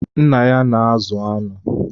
Nna ya na-azụ anụ.